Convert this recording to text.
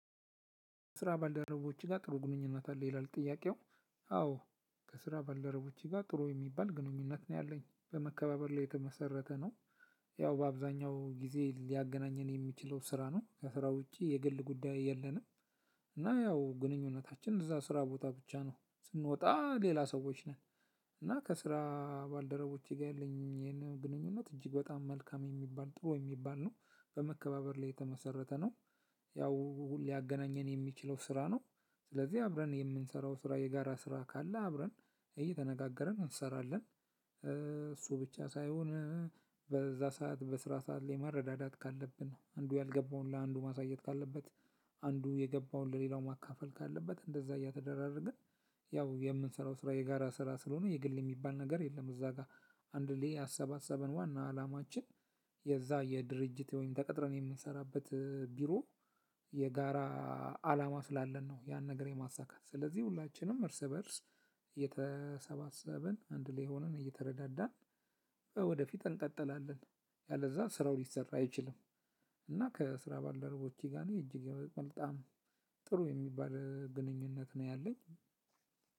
ከስራ ባልደረቦችህ ጋር ጥሩ ግንኙነት አለ ይላል ጥያቄው? አዎ። ከስራ ባልደረቦቼ ጋር ጥሩ የሚባል ግንኙነት ነው ያለኝ በመከባበር ላይ የተመሰረተ ነው። ያው በአብዛኛው ጊዜ ሊያገናኘን የሚችለው ስራ ነው ከስራ ውጪ የግል ጉዳይ የለንም። እና ያው ግንኙነታችን እዛ ስራ ቦታ ብቻ ነው ስንወጣ ሌላ ሰዎች ነን። እና ከስራ ባልደረቦቼ ጋር ያለኝም ይሄን ግንኙነት እጅግ በጣም መልካም የሚባል ጥሩ የሚባል ነው በመከባበር ላይ የተመሰረተ ነው። ያው ሊያገናኘን የሚችለው ስራ ነው። ስለዚህ አብረን የምንሰራው ስራ የጋራ ስራ ካለ አብረን እየተነጋገረን እንሰራለን። እሱ ብቻ ሳይሆን። በዛ ሰዓት በስራ ሰዓት ላይ መርዳዳት ካለብን አንዱ ያልገባውን ለአንዱ ማሳየት ካለበት። አንዱ የገባውን ለሌላው ማካፈል ካለበት እንደዛ እያተደራረግን። ያው የምንሰራው ስራ የጋራ ስራ ስለሆነ የግል የሚባል ነገር የለም እዛ ጋር። አንድ ላይ ያሰባሰበን ዋና አላማችን። የዛ የድርጅት ወይም ተቀጥረን የምንሰራበት ቢሮ። የጋራ አላማ ስላለን ነው ያን ነገር የማሳካት ስለዚህ ሁላችንም እርስ በእርስ እየተሰባሰብን አንድ ላይ ሆነን እየተረዳዳን ወደፊት እንቀጥላለን። ያለዛ ስራው ሊሰራ አይችልም። እና ከስራ ባልደረቦቼ ጋር እኔ እጅግ በጣም ጥሩ የሚባል ግንኙነት ነው ያለኝ።